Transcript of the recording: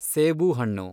ಸೇಬುಹಣ್ಣು